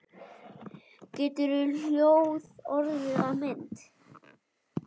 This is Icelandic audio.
Getur hljóð orðið að mynd?